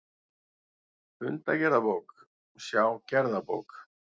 Fundagerðabók, sjá gerðabók